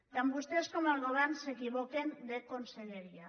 tant vostès com el govern s’equivoquen de conselleria